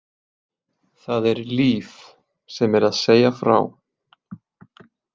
Það er Líf sem er að segja frá.